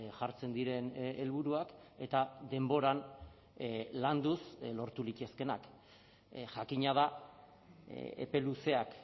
jartzen diren helburuak eta denboran landuz lortu litezkeenak jakina da epe luzeak